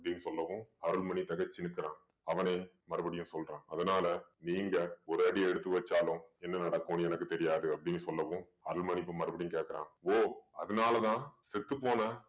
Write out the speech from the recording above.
அப்படின்னு சொல்லவும் அருள்மணி திகச்சு நிக்கிறான் அவனே மறுபடியும் சொல்றான் அதனால நீங்க ஒரு அடி எடுத்து வச்சாலும் என்ன நடக்கும்னு எனக்கு தெரியாது அப்படின்னு சொல்லவும் அருள்மணி இப்ப மறுபடியும் கேட்கிறான் ஓ அதனாலதான் செத்துப்போன